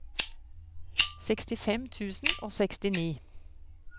sekstifem tusen og sekstini